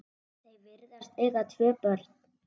Þau virðast eiga tvö börn.